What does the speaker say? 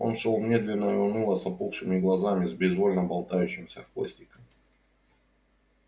он шёл медленно и уныло с опухшими глазами с безвольно болтающимся хвостиком